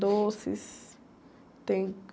Doces, tem...